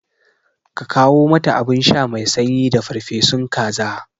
Ka kawo mata abinsha mai sanyi da farfesu kaza